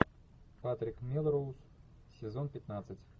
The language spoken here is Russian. патрик мелроуз сезон пятнадцать